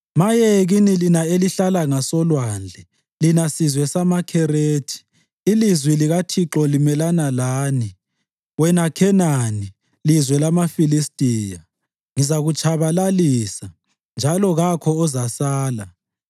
Maye kini lina elihlala ngasolwandle, lina sizwe samaKherethi; ilizwi likaThixo limelana lani, wena Khenani, lizwe lamaFilistiya. “Ngizakutshabalalisa, njalo kakho ozasala.”